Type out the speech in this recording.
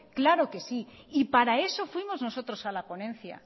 claro que sí y para eso fuimos nosotros a la ponencia